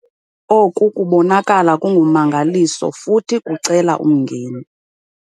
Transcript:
Oku kubonakala kungumangaliso futhi kucela umngeni!